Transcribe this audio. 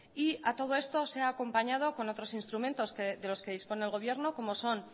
a todo esto se ha acompañado con otros instrumentos de los que dispone el gobierno como son